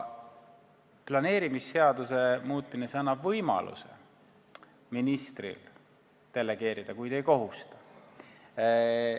Planeerimisseaduse muutmine annab ministrile võimaluse delegeerida, kuid ei kohusta selleks.